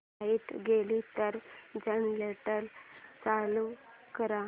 light गेली तर generator चालू कर